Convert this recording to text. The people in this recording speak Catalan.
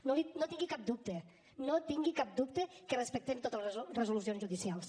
no en tingui cap dubte no tingui cap dubte que respectem totes les resolucions judicials